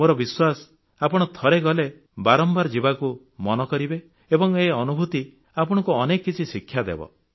ମୋର ବିଶ୍ୱାସ ଆପଣ ଥରେ ଗଲେ ବାରମ୍ବାର ଯିବାକୁ ମନ କରିବେ ଏବଂ ଏ ଅନୁଭୂତି ଆପଣଙ୍କୁ ଅନେକ କିଛି ଶିକ୍ଷାଦେବ